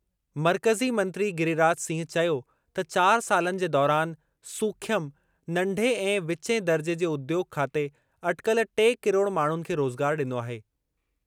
मर्कज़ी मंत्री गिरिराज सिंह चयो त चार सालनि जे दौरानि, सूख्यम, नंढे ऐं विचें दर्जे जे उद्योॻ खाते अटिकल टे किरोड़ माण्हुनि खे रोज़गार डि॒नो आहे।